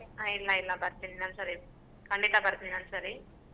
ಹಾ ಇಲ್ಲ ಇಲ್ಲ ಬರ್ತೀನಿ ಇನ್ನೊಂದ್ ಸರಿ ಖಂಡಿತ ಬರ್ತೀನಿ ಇನ್ನೊಂದ್ ಸರಿ.